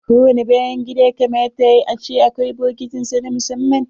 Ko wani bayan gida ya kamata a ce na da bokitin sa na musamman.